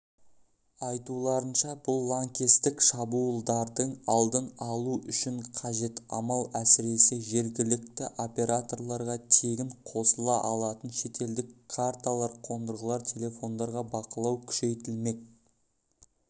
айтуларынша бұл лаңкестік шабуылдардың алдын алу үшін қажет амал әсіресе жергілікті операторларға тегін қосыла алатын шетелдік карталар қондырылған телефондарға бақылау күшейтілмек